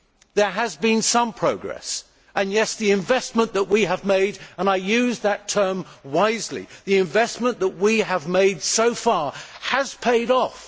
There has been some progress and, yes, the investment that we have made and I use that term wisely the investment that we have made so far has paid off.